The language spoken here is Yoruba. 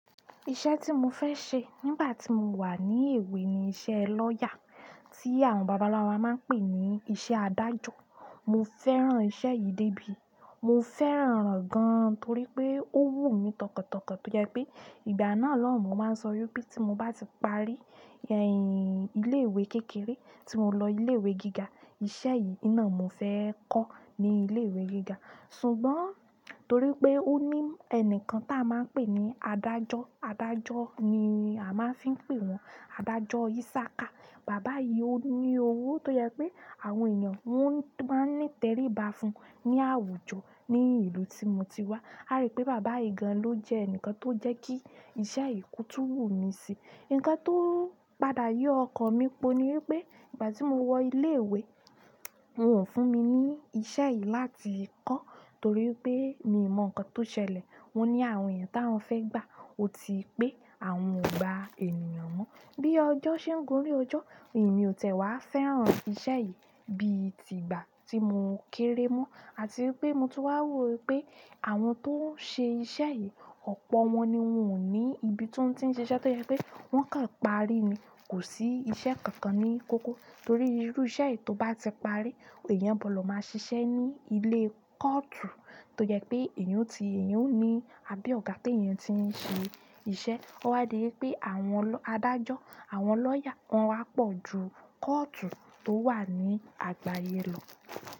Iṣẹ́ tí mo fẹ́ ṣe nígbà tí mo wà ní èwe ni iṣẹ́ lawyer, tí àwọn bàbá-ńlá wa máa ń pè ní iṣẹ́ adájọ́. Mo fẹ́ràn iṣẹ́ yìí débi, mo fẹ́ràn rẹ̀ gan torí pé ó wù mí tọkàntọkàn tó jẹ pé ìgbà náà lọ́hun máa ń sọ yọ pé tí mo bá ti parí, eh, ilé ìwé kékeré tí mo lọ ilé ìwé gíga, iṣẹ́ yìí náà mo fẹ́ kọ́ ní ilé ìwé gíga. Ṣùgbọ́n torí pé òní ẹnìkan ta máa ń pé ní adájọ adájọ ní a máa fí ń or wọn. Bàbá yìí ni owó tó yẹ pé àwọn ènìyàn wọ́n máa ń ní tẹríba fún un ní àwùjọ ní ìlú tí mo ti wá. A rí pé bàbá yìí gan ló jẹ́ ẹnìkan tó jẹ́ kí iṣẹ́ ì ko tùn wù mí sí. Ǹkan tó ń padà yọ ọkàn mi po ni wípé ìgbà tí mo wọ ilé ìwé, wọn ò fún mi ní iṣẹ́ yìí láti kọ́ torí pé mi ò mọ ǹkan tó ṣẹlẹ̀. Wọn ní àwọn èèyàn tí wọ́n fẹ́ gbà ó ti pé àwọn ò gba ènìyàn mọ́. Bí ọjọ́ ṣe ń górí ọjọ́, èmi ò tẹ̀wá fẹ́ràn iṣẹ́ yìí bí i tìgbà tí mo kéré mọ́ àti pé mo tún wà wò wípé àwọn tó ń ṣe iṣẹ́ yìí, ọ̀pọ̀ wọn ni wọ́n ò ní ibi tó ń tí ń ṣe iṣẹ́ tó yẹ pé wọ́n kan parí ni, kò sí iṣẹ́ kankan ní kókó torí irú iṣẹ́ yìí tó bá ti parí, èèyàn gbọ̀ lọ máa ṣiṣẹ́ ní ilé kọ́ọ̀tù tó jẹ pé èèyàn ti, èèyàn ò ní àbí ọ̀gá pé èèyàn ti ń ṣe iṣẹ́. Ó wá di wípé àwọn adájọ́, àwọn lawyer, wọ́n wá pọ̀ ju kọ́ọ̀tù tó wà ní àgbáyé lọ.